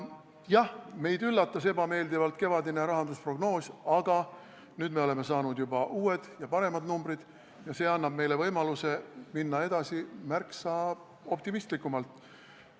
Jah, meid üllatas ebameeldivalt kevadine rahandusprognoos, aga nüüd me oleme saanud juba uued ja paremad numbrid ning see annab meile võimaluse märksa optimistlikumalt edasi minna.